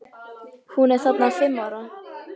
Hún er þarna fimm ára.